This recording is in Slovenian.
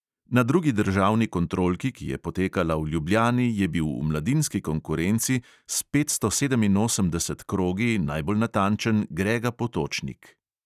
Na drugi državni kontrolki, ki je potekala v ljubljani, je bil v mladinski konkurenci s petsto sedeminosemdeset krogi najbolj natančen grega potočnik.